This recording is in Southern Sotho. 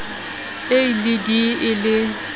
a le d e le